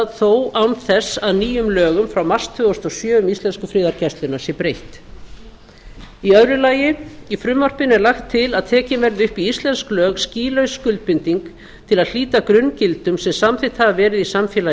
þó án þess að nýjum lögum frá mars tvö þúsund og sjö um íslensku friðargæsluna sé breytt í öðru lagi í frumvarpinu er lagt til að tekin verði upp í íslensk lög skýlaus skuldbinding til að hlíta grunngildum sem samþykkt hafa verið í samfélagi